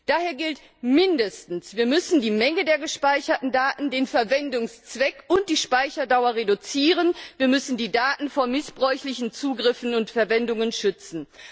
Daher gilt mindestens Wir müssen die Menge der gespeicherten Daten, den Verwendungszweck und die Speicherdauer reduzieren. Wir müssen die Daten vor missbräuchlichen Zugriffen und Verwendungen schützen.